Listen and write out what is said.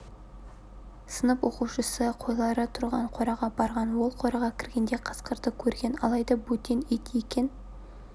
сынып оқушысы қойлары тұрған қораға барған ол қораға кіргенде қасқырды көрген алайда бөтен ит екен